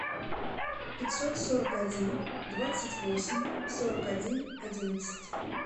пятьсот сорок один двадцать восемь сорок один одиннадцать